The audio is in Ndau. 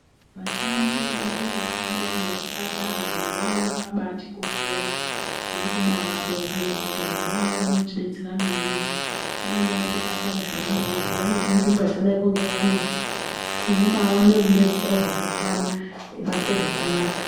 Vashandi vemunzvimbo dzakadaiwo ngemuzvipatara, vantu awawa akaabatikoshera kuvabonga ngekuti vantu vo avavo vanotidetsera maningi waenda kuchipatara zviyani kana kuti waenda kunzvimbo yakadaiko ngefamasi unobaawane rudetsero rwakakwana weibatwe zvakanaka.